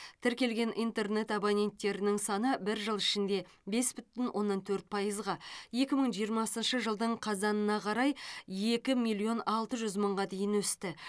тіркелген интернет абоненттерінің саны бір жыл ішінде бес бүтін оннан төрт пайызға екі мың жиырмасыншы жылдың қазанына қарай екі миллион алты жүз мыңға дейін өсті